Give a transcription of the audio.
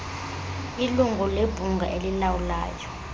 ilungu lebhunga elilawulayo